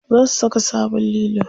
Za su saka sabon lilo.